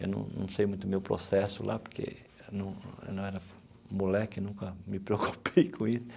Eu não não sei muito o meu processo lá, porque eu não eu não era moleque, nunca me preocupei com isso.